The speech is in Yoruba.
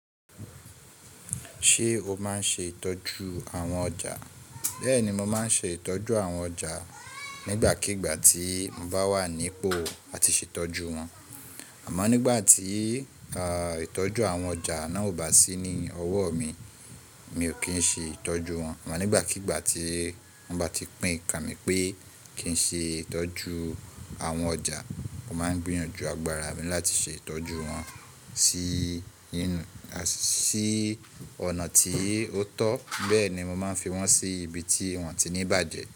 Ṣé o máa ń ṣe ìtọ́jú àwọn ọjà? Bẹ́ẹ̀ni, mo máa ń ṣe ìtọ́jú àwọn ọjà nígbàkigbà tí mo bá wà nípò àti ṣe ìtọ́jú wọn. Àmọ́ nígbà tí ìtọ́jú àwọn ọjà náà ò bá sí ní ọwọ́ mi, mi ò kí ń ṣe ìtọ́jú wọn. Àmọ́ nígbàkigbà tí wọ́n bá ti pín kanmi pé kí n ṣe ìtọ́jú àwọn ọjà, mo máa ń gbìyànjú agbára mi láti ṣe ìtọ́jú wọn sí inú, sí ọ̀nà tí ó tọ́. Bẹ́ẹ̀ ni mo máa ń fi wọ́n sí ibi tí wọ́n ti ní bàjẹ́.